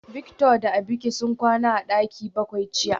Victor da Abike sun kwana a daki bakwai jiya